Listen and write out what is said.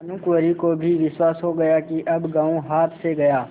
भानुकुँवरि को भी विश्वास हो गया कि अब गॉँव हाथ से गया